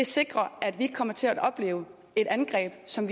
sikrer at vi ikke kommer til at opleve et angreb som